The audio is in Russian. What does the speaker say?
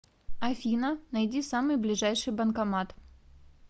афина найди самый ближайший банкомат